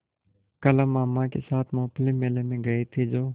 कल हम मामा के साथ मूँगफली मेले में गए थे जो